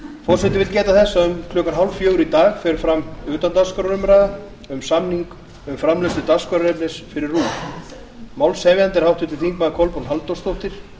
forseti vill geta þess að um klukkan þrjú þrjátíu í dag fer fram utandagskrárumræða um samning um framleiðslu dagskrárefnis fyrir rúv málshefjandi er háttvirtir þingmenn kolbrún halldórsdóttir